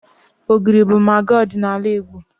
Ogiri bụ magị ọdịnala Igbo.